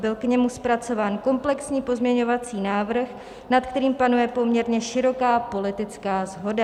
Byl k němu zpracován komplexní pozměňovací návrh, nad kterým panuje poměrně široká politická shoda.